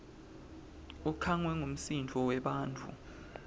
ukhangwe ngumsindvo webantfu